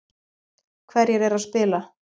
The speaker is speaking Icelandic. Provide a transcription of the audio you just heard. Hverjir eru að spila